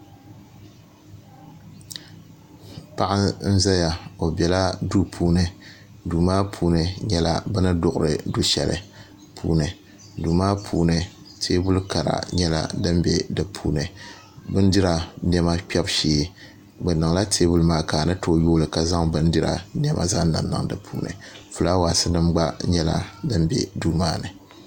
Paɣa n ʒɛya o biɛla duu puuni duu maa puuni nyɛla bini duɣuri du shɛli duu maa puuni teebuli kara nyɛla din bɛ di puuni bindira kpɛbu shee bi niŋla teebuli maa ka a ni tooi yooli ka zaŋ bindira niɛma zaŋ niŋniŋ di puuni fulaawaasi nim gba nyɛla din bɛ duu maa ni